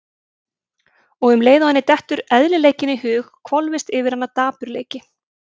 Og um leið og henni dettur eðlileikinn í hug hvolfist yfir hana dapurleiki.